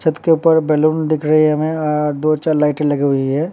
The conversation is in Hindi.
छत के ऊपर बैलून दिख रहे हैं हमें। आ दो चार लाइटें लगी हुई हैं।